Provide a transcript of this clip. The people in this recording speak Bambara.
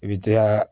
I bi jaa